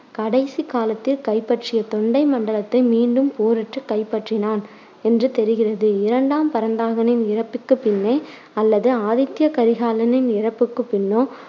கடைசிக் காலத்தில் கைப்பற்றிய தொண்டை மண்டலத்தை மீண்டும் போரிட்டு கைப்பற்றினான் என்று தெரிகிறது. இரண்டாம் பராந்தகனின் இறப்புக்கு பின்னே அல்லது ஆதித்ய கரிகாலனின் இறப்புக்குப் பின்னோ